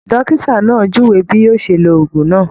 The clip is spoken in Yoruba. Dókítà náà júwe bí yóò ṣe ló òògùn náà